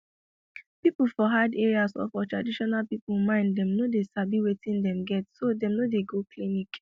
people for hard areas or for traditional people mind dem no sabi wetin dem get so dem no dey go clinic